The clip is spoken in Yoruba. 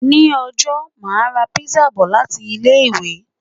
Ṣé Òjó máa ra pizza bọ̀ láti ilé-ìwé?